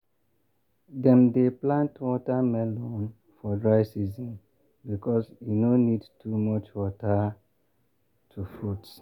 dem dey plant watermelon for dry season because e no need too much water to fruit.